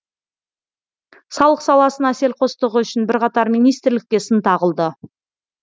салық саласына селқостығы үшін бірқатар министрлікке сын тағылды